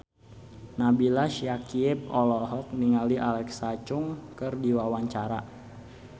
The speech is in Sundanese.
Nabila Syakieb olohok ningali Alexa Chung keur diwawancara